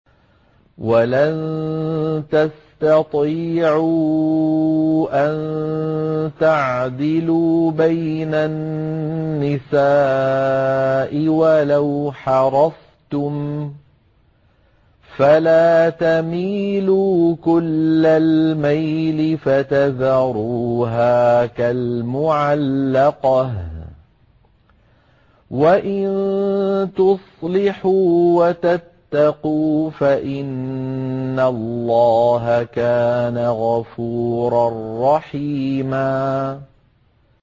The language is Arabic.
وَلَن تَسْتَطِيعُوا أَن تَعْدِلُوا بَيْنَ النِّسَاءِ وَلَوْ حَرَصْتُمْ ۖ فَلَا تَمِيلُوا كُلَّ الْمَيْلِ فَتَذَرُوهَا كَالْمُعَلَّقَةِ ۚ وَإِن تُصْلِحُوا وَتَتَّقُوا فَإِنَّ اللَّهَ كَانَ غَفُورًا رَّحِيمًا